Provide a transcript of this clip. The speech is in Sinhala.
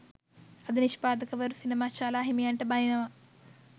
අද නිෂ්පාදකවරු සිනමා ශාලා හිමියන්ට බනිනවා